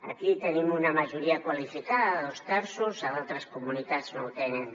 aquí tenim una majoria qualificada de dos terços a d’altres comunitats no ho tenen